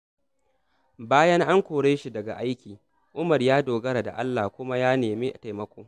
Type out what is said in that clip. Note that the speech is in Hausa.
Bayan an kore shi daga aiki, Umar ya dogara da Allah kuma ya nemi taimako.